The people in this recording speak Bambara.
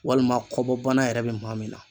Walima kɔbɔ bana yɛrɛ be maa min na